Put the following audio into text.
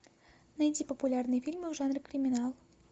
найди популярные фильмы в жанре криминал